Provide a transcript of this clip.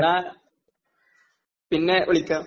എന്നാ പിന്നെ വിളിക്കാം...